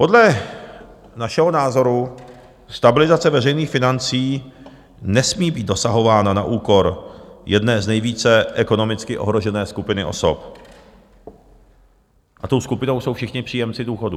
Podle našeho názoru stabilizace veřejných financí nesmí být dosahována na úkor jedné z nejvíce ekonomicky ohrožené skupiny osob, a tou skupinou jsou všichni příjemci důchodů.